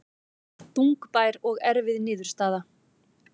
Þungbær og erfið niðurstaða